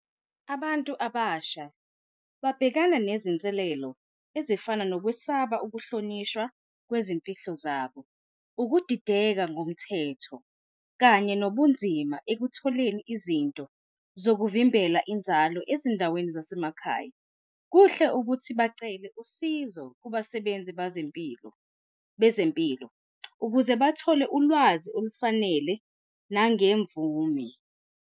Abantu abasha babhekana nezinselelo ezifana nokwesaba ukuhlonishwa kwezimpilo zabo, ukudideka ngomthetho kanye nobunzima ekutholeni izinto zokuvimbela inzalo ezindaweni zasemakhaya. Kuhle ukuthi bacele usizo kubasebenzi bazempilo bezempilo ukuze bathole ulwazi olufanele nangemvume.